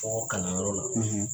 Kɔkɔ kalanyɔrɔ la,